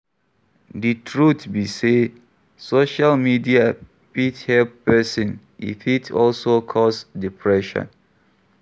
Di truth be sey, social media fit help person, e fit also cause depression